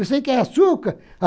Você quer açúcar?